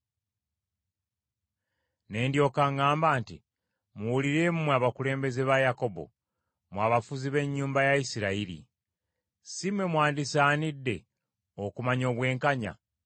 Ne ndyoka ŋŋamba nti, “Muwulire mmwe abakulembeze ba Yakobo, mmwe abafuzi b’ennyumba ya Isirayiri. Si mmwe mwandisaanidde okumanya obwenkanya,